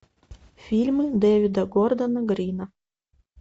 фильмы дэвида гордона грина